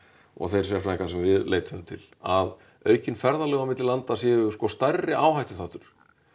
og þeir sérfræðingar sem við leituðum til að aukin ferðalög á milli landa séu sko stærri áhættuþáttur